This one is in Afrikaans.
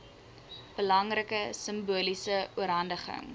belangrike simboliese oorhandiging